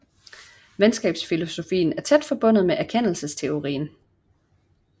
Videnskabsfilosofien er tæt forbundet med erkendelsesteorien